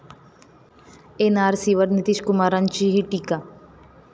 एनआरसीवर नितीशकुमारांचीही टीका